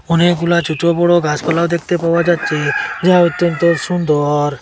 অনেকগুলা ছোট বড় গাছপালাও দেখতে পাওয়া যাচ্ছে যা অত্যন্ত সুন্দর।